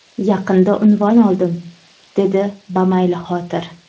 Yaqinda unvon oldim, dedi bamaylixotir.